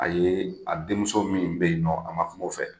A ye, a den muso min bɛ yen nɔ a ma kuma o fɛ.